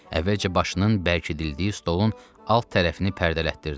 Əvvəlcə başının bərkidildiyi stolun alt tərəfini pərdələtdirdi.